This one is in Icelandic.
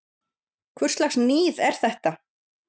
Hvurslags níð er þetta!